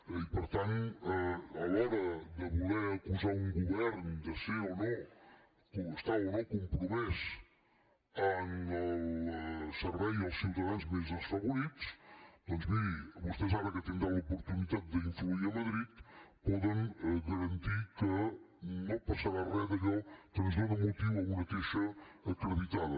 i per tant a l’hora de voler acusar un govern de ser o no estar o no compromès en el servei als ciutadans més desfavorits doncs miri vostès ara que tindran l’oportunitat d’influir a madrid poden garantir que no passarà re d’allò que ens dóna motiu a una queixa acreditada